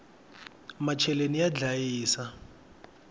macheleni ya ndlayisa